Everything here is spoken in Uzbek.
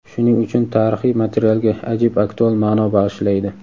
shuning uchun tarixiy materialga ajib aktual ma’no bag‘ishlaydi.